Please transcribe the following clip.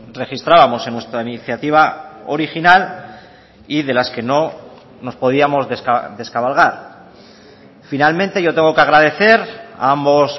registrábamos en nuestra iniciativa original y de las que no nos podíamos descabalgar finalmente yo tengo que agradecer a ambos